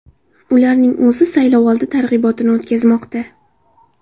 Ularning o‘zi saylovoldi targ‘ibotini o‘tkazmoqda.